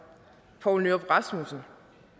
poul nyrup rasmussen